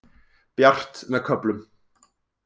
Bjart með köflum